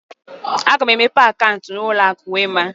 Aga mụ emepe akauntu na ụlọ akụ Wema.